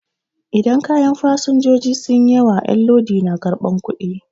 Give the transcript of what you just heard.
Idan kayan fasenjoji sun yi yawa 'yan lodi na karɓan kuɗi